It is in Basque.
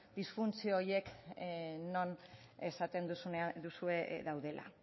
disfuntzio horiek non esaten duzue daudela